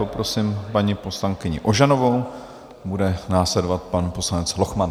Poprosím paní poslankyni Ožanovou, bude následovat pan poslanec Lochman.